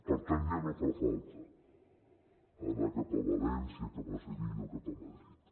per tant ja no fa falta anar cap a valència cap a sevilla o cap a madrid